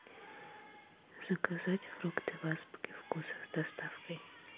заказать фрукты в азбуке вкуса с доставкой